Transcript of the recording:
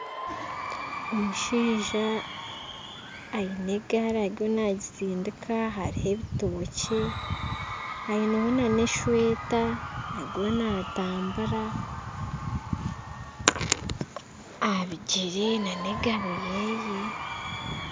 Omushaija aine egaari ariyo nagisindika hariho ebitookye aineho n'esweeta arimu naatambura aha bigyere n'egaari ye